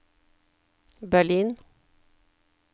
Berlin